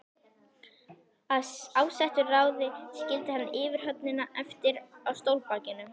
Af ásettu ráði skildi hann yfirhöfnina eftir á stólbakinu.